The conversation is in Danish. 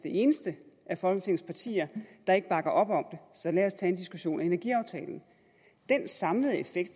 eneste af folketingets partier der ikke bakker op om så lad os tage en diskussion om energiaftalen den samlede effekt